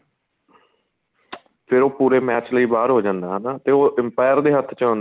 ਤੇ ਉਹ ਪੂਰੇ match ਲਈ ਬਾਹਰ ਹੋ ਜਾਂਦਾ ਹਨਾ ਤੇ ਉਹ empire ਦੇ ਹੱਥ ਚ